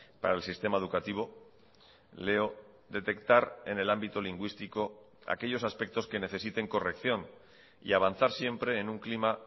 para el sistema educativo leo detectar en el ámbito lingüístico aquellos aspectos que necesiten corrección y avanzar siempre en un clima